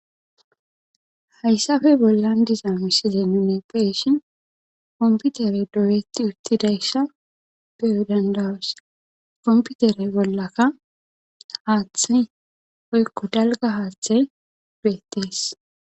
hayssafe bollan diza misile nune peshin komputere doyetti uttidaysa beyoy dandawos komputere bollaka haathani poykko dalga haaththe do7ettees